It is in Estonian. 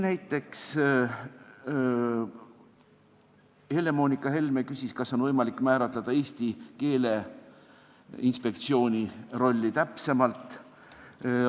Näiteks Helle-Moonika Helme küsis, kas Eesti Keeleinspektsiooni rolli oleks võimalik määratleda täpsemalt.